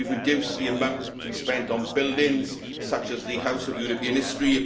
we have reduced the amount to be spent on buildings, such as the House of European History